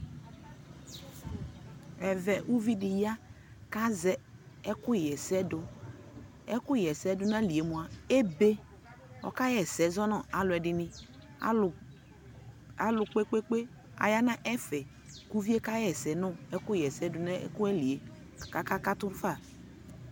ɛvɛ ʋvi di ya kʋ azɛ ɛkʋ yɛsɛ dʋ, ɛkʋ yɛsɛ dʋnʋ aliɛ mʋa ɛbɛ, ɔka yɛsɛ zɔnʋ alʋɛdini, alʋ kpekpekpe ayanʋ ɛƒɛ kʋ ʋviɛ kayɛsɛ nʋ ɛkʋ yɛsɛ dʋnʋ ayiliɛ kʋ aka katʋ ƒa